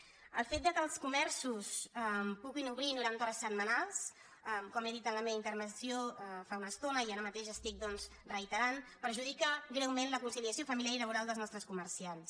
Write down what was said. el fet que els comerços puguin obrir noranta hores setmanals com he dit en la meva intervenció fa una estona i ara mateix estic doncs reiterant perjudica greument la conciliació familiar i laboral dels nostres comerciants